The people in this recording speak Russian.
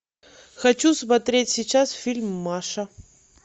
хочу смотреть сейчас фильм маша